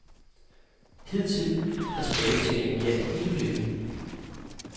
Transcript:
Hidtil har tilbagebetalingen gjaldt hele beløbet.